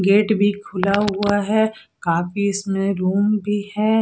gate भी खुला हुआ है काफी इसमे रूम भी है जेसा कि--